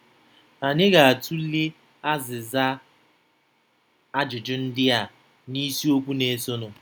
Anyị ga-atụle azịza ajụjụ ndị a n'isiokwu na-esonụ.